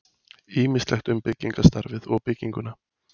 Ýmislegt um byggingarstarfið og bygginguna.